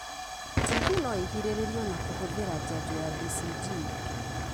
TB no ĩgirĩrĩrio na kũhũthira janjo ya BCG.